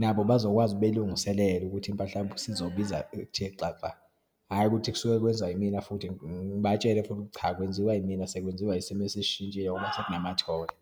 nabo bazokwazi belungiselele ukuthi impahla yabo isizobiza ukuthe xaxa. Hhayi ukuthi kusuke kwenzwa yimina futhi, ngibatshele futhi cha, akwenziwa yimina, sekwenziwa isimo eseshintshile sekunamatholi.